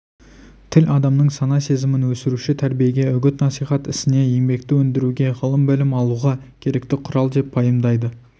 тіл адамның сана-сезімін өсіруші тәрбиеге үгіт-насихат ісіне еңбекті өндіруге ғылым-білім алуға керекті құрал деп пайымдайды